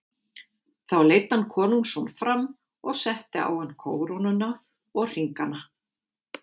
Þá leiddi hann konungsson fram og setti á hann kórónuna og hringana.